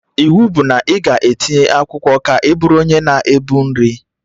Iwu bụ na ị ga-etinye akwụkwọ ka ị bụrụ onye na-ebu nri